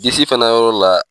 Disi fana yɔrɔ la.